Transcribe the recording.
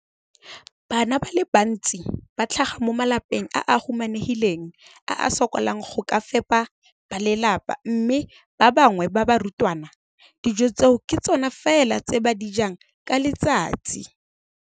Bana ba le bantsi ba tlhaga mo malapeng a a humanegileng a a sokolang go ka fepa ba lelapa mme ba bangwe ba barutwana, dijo tseo ke tsona fela tse ba di jang ka letsatsi.